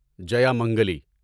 جیامنگلی